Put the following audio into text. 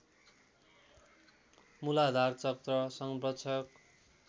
मूलाधार चक्र संरक्षक